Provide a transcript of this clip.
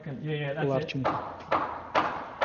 ларченко